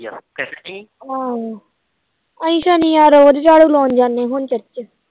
ਅਹੀ ਸ਼ਨੀਵਾਰ ਰੋਜ